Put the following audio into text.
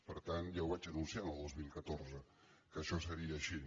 per tant ja ho vaig anunciar el dos mil catorze que això seria així